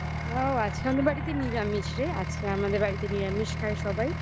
ও আজকে আমাদের বাড়িতে নিরামিষ রে আজকে আমাদের বাড়িতে নিরামিষ খায় সবাই